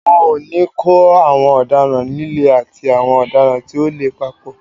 Wọn ò ní kó àwọn ọ̀daràn líle àti àwọn ọ̀daràn tí ò le papọ̀.